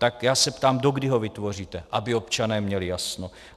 Tak já se ptám, dokdy ho vytvoříte, aby občané měli jasno.